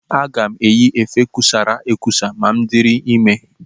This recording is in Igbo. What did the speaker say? Aga m eyi efe kusara ekusa ma m dịrị ime.